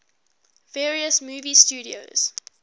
various movie studios